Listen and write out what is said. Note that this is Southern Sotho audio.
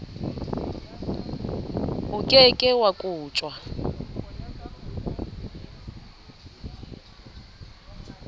o ke ke wa kotjwa